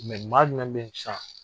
maa jumɛn b'i s'an?